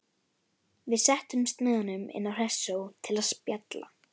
Við settumst með honum inn á Hressó til að spjalla.